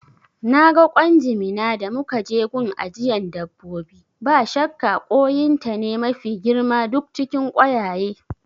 Naga ƙwan jimina da muka je gun ajiyan dabbobi, ba shakka koyin ta ne mafi girma duk cikin koyaye